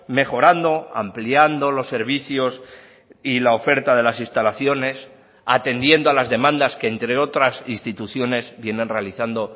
mejorando ampliando los servicios y la oferta de las instalaciones atendiendo a las demandas que entre otras instituciones vienen realizando